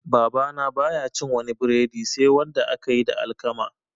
Babana baya cin wani breadi sai wanda aka yi da alkama